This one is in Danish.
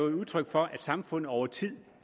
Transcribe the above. udtryk for at samfundet over tid